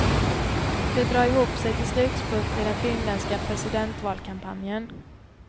Det drar ihop sig till slutspurt i den finländska presidentvalkampanjen.